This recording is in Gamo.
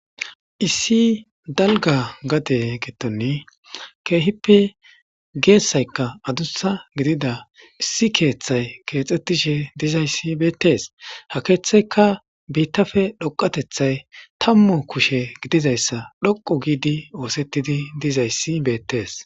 issi dalga gade gettonni keehippe geessaykka adusha gidida issi keeththay keexxettishe dizayssi beettees ha keeththeyka biittafe dhoqatethay tammu kushe gidizayssa dhoqo giidi oosettidi dizayssi beettees